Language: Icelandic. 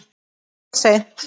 Of seint.